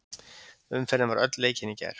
Umferðin var öll leikin í gær.